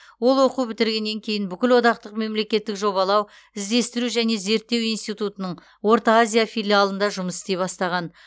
ол оқу бітіргеннен кейін бүкілодақтық мемлекеттік жобалау іздестіру және зерттеу институтының орта азия филиалында жұмыс істей бастаған